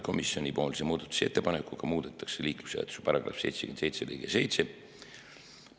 Komisjoni muudatusettepanekuga muudetakse liiklusseaduse § 77 lõiget 7.